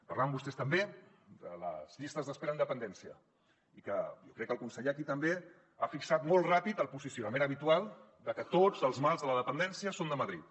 parlaven vostès també de les llistes d’espera en dependència i que jo crec que el conseller aquí també ha fixat molt ràpid el posicionament habitual de que tots els mals de la dependència són de madrid